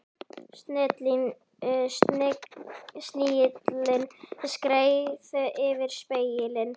Snigillinn skreið yfir spegilinn.